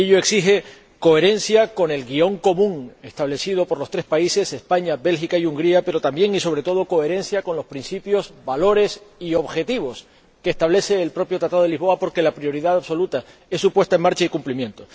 Y ello exige coherencia con el guión común establecido por los tres países —España, Bélgica y Hungría—, pero también, y sobre todo, coherencia con los principios, valores y objetivos que establece el propio Tratado de Lisboa, porque la prioridad absoluta es su puesta en marcha y cumplimiento.